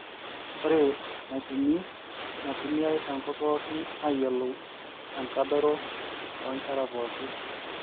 ore enaipimi naitumiai te nkop pookin ayiolou enkadoro oo nkera pookin